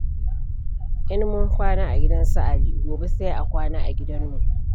In mun kwana a gidan su Ali, gobe sai a kwana a gidanmu.